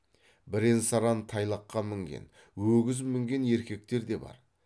бірен саран тайлаққа мінген өгіз мінген еркектер де бар